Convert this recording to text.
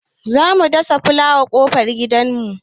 Za mu dasa fulawa a ƙofar gidan mu.